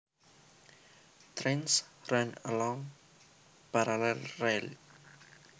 Trains run along parallel rails